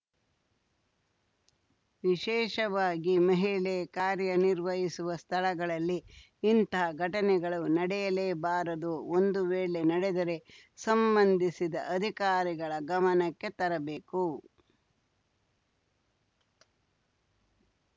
ವಿಶೇಷವಾಗಿ ಮಹಿಳೆ ಕಾರ್ಯನಿರ್ವಹಿಸುವ ಸ್ಥಳಗಳಲ್ಲಿ ಇಂಥ ಘಟನೆಗಳು ನಡೆಯಲೇಬಾರದು ಒಂದು ವೇಳೆ ನಡೆದರೆ ಸಂಬಂಧಿಸಿದ ಅಧಿಕಾರಿಗಳ ಗಮನಕ್ಕೆ ತರಬೇಕು